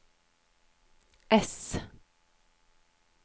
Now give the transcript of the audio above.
S